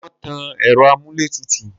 ṣé wọ́n tan ẹ̀rọ amúlétùtù?